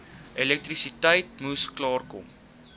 elektrisiteit moes klaarkom